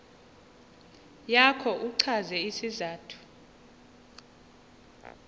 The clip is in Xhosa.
yakho uchaze isizathu